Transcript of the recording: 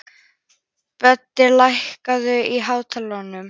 Böddi, lækkaðu í hátalaranum.